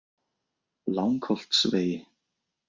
Langholtsvegi